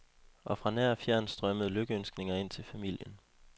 Og fra nær og fjern strømmede lykønskninger ind til familien.